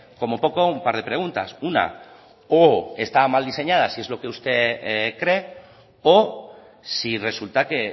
como poco un par de preguntas una o están mal diseñadas y es lo que usted cree o si resulta que